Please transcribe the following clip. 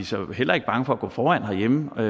så heller ikke bange for at gå foran herhjemme og